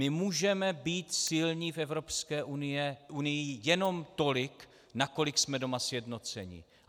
My můžeme být silní v Evropské unii jenom tolik, nakolik jsme doma sjednoceni.